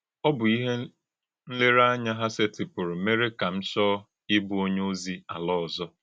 Ọ bụ́ íhè nlèrèànyà hà sètìpùrù mèrè kà m chọọ íbụ̀ ònyé òzì àlà ọ̀zọ̀.